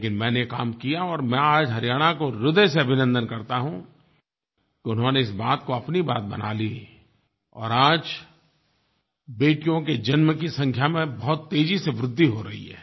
लेकिन मैंने काम किया और मैं आज हरियाणा का ह्रदय से अभिनन्दन करता हूँ कि उन्होंने इस बात को अपनी बात बना लिया और आज बेटियों के जन्म की संख्या में बहुत तेज़ी से वृद्धि हो रही है